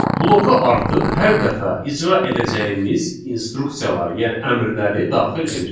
Bloka artıq hər dəfə icra edəcəyimiz instruksiyaları, yəni əmrləri daxil edirik.